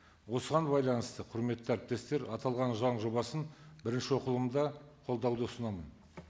осыған байланысты құрметті әріптестер аталған заң жобасын бірінші оқылымда қолдауды ұсынамын